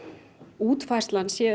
útfærslan sé